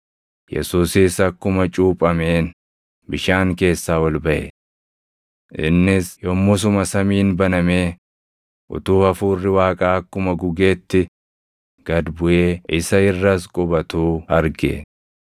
Yesuusis akkuma cuuphameen bishaan keessaa ol baʼe. Innis yommusuma samiin banamee, utuu Hafuurri Waaqaa akkuma gugeetti gad buʼee isa irras qubatuu arge.